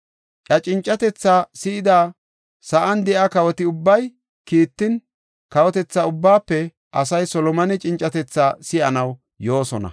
Iya cincatethaa si7ida sa7an de7iya kawoti ubbay kiittin, kawotetha ubbaafe asay Solomone cincatethaa si7anaw yoosona.